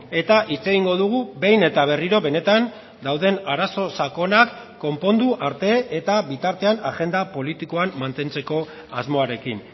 eta hitz egingo dugu behin eta berriro benetan dauden arazo sakonak konpondu arte eta bitartean agenda politikoan mantentzeko asmoarekin